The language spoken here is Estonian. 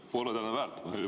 Pole tänu väärt!